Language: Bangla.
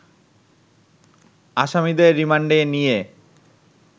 আসামিদের রিমান্ডে নিয়ে